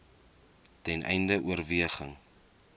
ten einde oorweging